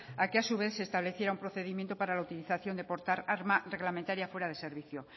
a que a su vez se estableciera un procedimiento para la utilización de portar arma reglamentaria fuera de servicio